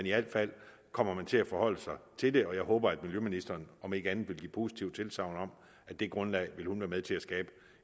i alt fald kommer man til at forholde sig til det og jeg håber at miljøministeren om ikke andet vil give positivt tilsagn om at det grundlag vil hun være med til at skabe